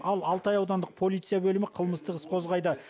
ал алтай аудандық полиция бөлімі қылмыстық іс қозғайды